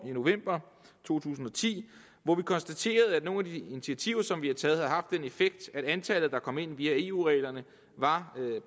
i november to tusind og ti hvori vi konstaterede at nogle af de initiativer som vi har taget har den effekt at antallet der kom ind via eu reglerne var